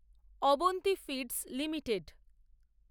Avanti Feeds limited